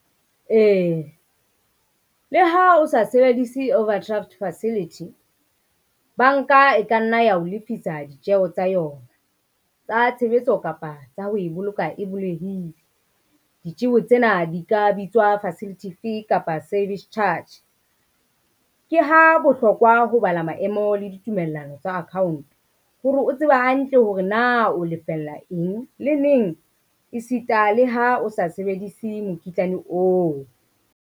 Ee, le ha o sa sebedise overdraft facility, banka e ka nna ya o lefisa ditjeho tsa yona, tsa tshebetso kapa tsa ho e boloka e bolehile. Ditjeho tsena di ka bitswa facility fee kapa service charge. Ke ha bohlokwa ho bala maemo le ditumellano tsa account hore o tseba hantle hore na o lefella eng le neng, e sita le ha o sa sebedise mokitlane oo.